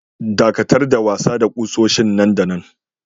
Daƙatar da wasa da kusoshin nan da nan!